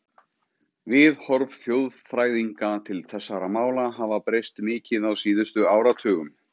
Viðhorf þjóðfræðinga til þessara mála hafa breyst mikið á síðustu áratugum.